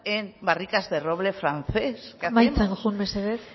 en barricas de roble francés qué hacemos amaitzen joan mesedez